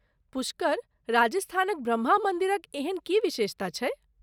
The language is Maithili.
पुष्कर, राजस्थानक ब्रह्मा मन्दिरक एहन की विशेषता छैक ।